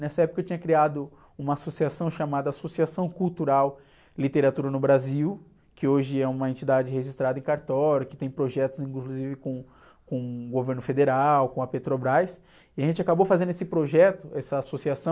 Nessa época eu tinha criado uma associação chamada Associação Cultural Literatura no Brasil, que hoje é uma entidade registrada em cartório, que tem projetos inclusive com, com o governo federal, com a Petrobras, e a gente acabou fazendo esse projeto, essa associação,